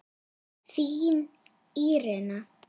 Þín Írena.